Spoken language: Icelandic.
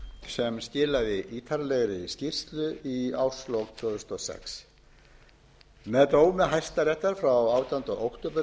sem skilaði ítarlegri skýrslu í árslok tvö þúsund og sex með dómi hæstaréttar frá átjándu október tvö þúsund og